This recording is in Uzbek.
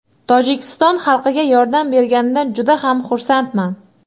Tojikiston xalqiga yordam berganimdan juda ham xursandman.